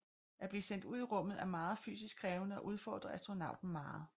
At blive sendt ud i rummet er meget fysisk krævende og udfordrer astronauten meget